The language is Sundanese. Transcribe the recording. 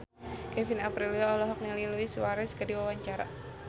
Kevin Aprilio olohok ningali Luis Suarez keur diwawancara